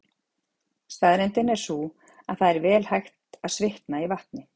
Staðreyndin er sú að það er vel hægt að svitna í vatni.